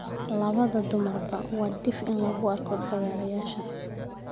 Labada dumarba waa dhif in lagu arko fagaarayaasha.